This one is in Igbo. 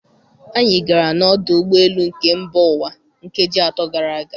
Anyị gara n'ọdụ ụgbọ elu nke mba ụwa nkeji atọ gara aga.